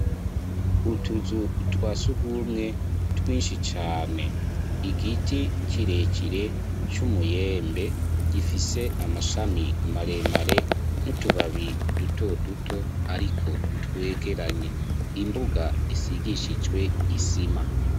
Utuzu twasugumwe twinshi cane igiti kirekire c'umuyembe gifise amashami maremare n'utubabi duto duto ariko twegeranye imbuga isigishijwe isima.